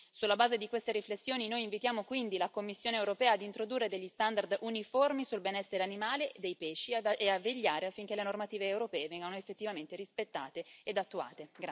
Sulla base di queste riflessioni, noi invitiamo quindi la Commissione europea ad introdurre degli standard uniformi sul benessere animale dei pesci e a vegliare affinché le normative europee vengano effettivamente rispettate ed attuate.